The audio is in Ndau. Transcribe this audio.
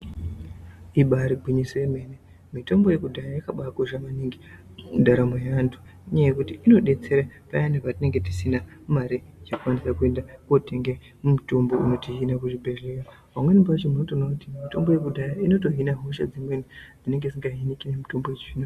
Ibari gwinyiso yemene mitombo yekudhaya yakadai kosha maningi mundaramo yeantu inyaya yekuti inobetsere payani patinenge tisina mare yekukwanise kuende kunotenga mitombo kuzvibhehleya pamweni pachona unotoona kuti mitombo yekudhaya inotohina hosha dzimweni dzinenge dzisinga hiniki ngemitombo yechizvino.